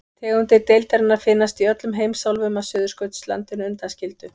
Tegundir deildarinnar finnast í öllum heimsálfum að Suðurskautslandinu undanskildu.